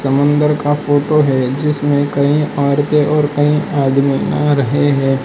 मंदर का फोटो है जिसमें कई औरते और कई आदमी आ रहे हैं।